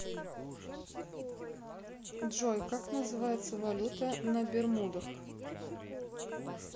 джой как называется валюта на бермудах